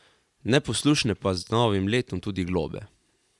Neposlušne pa z novim letom tudi globe.